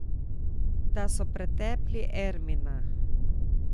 Da so pretepli Ermina.